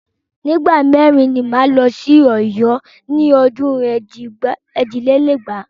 Ní ìgbà mẹ́rin ni máa lọ sí Ọ̀yọ́ ní ọdún ẹ̀jì lé lẹ́gbàá.